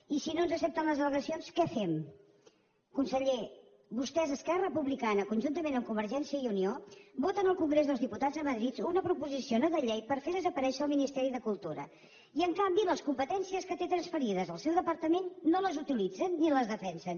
i si no ens accepten les allegacions què fem conseller vostès esquerra republicana conjuntament amb convergència i unió voten al congrés dels diputats a madrid una proposició no de llei per fer desaparèixer el ministeri de cultura i en canvi les competències que té transferides al seu departament no les utilitzen ni les defensen